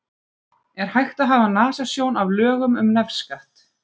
Er hægt að hafa nasasjón af lögum um nefskatt?